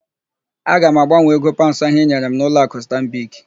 Aga m agbanwee ego paụnds ahụ ị nyere m n'ụlọakụ Stanbik.